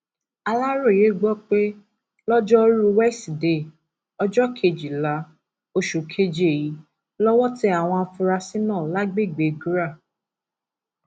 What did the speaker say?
aláròye gbọ pé lojoruu wesidee ọjọ kejìlá oṣù keje yìí lọwọ tẹ àwọn afurasí náà lágbègbè gra